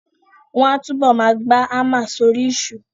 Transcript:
Wọ́n á túbọ̀ ma gba hámà sórí ìṣó